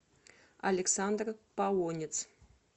александр полонец